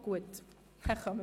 – Dies ist der Fall.